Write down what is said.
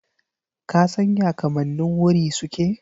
Ka san ya kamannin wuri suke?